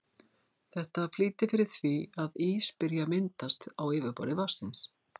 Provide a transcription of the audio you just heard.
Þetta flýtir fyrir því að ís byrji að myndast á yfirborði vatnsins.